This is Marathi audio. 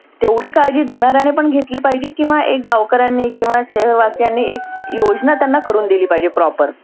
तेव्हडी काळजी धुनाऱ्याने पण घेतली पाहीजे किंवा एक गावकर्यांनी किंवा शहर वासियांनी एक योजना करुण दिली पाहीजे proper